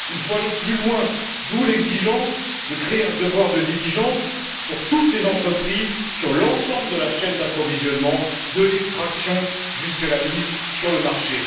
Il faut aller plus loin, d'où l'exigence de créer un devoir de diligence pour toutes les entreprises sur l'ensemble de la chaîne d'approvisionnement, de l'extraction jusqu'à la mise sur le marché.